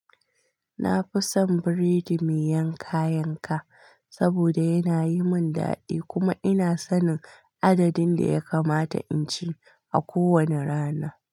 Na fi son buredi mai yanka yanka saboda yana yi mun daɗi kuma ina son adadin da ya kamata in ci a kowane rana.